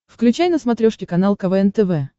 включай на смотрешке канал квн тв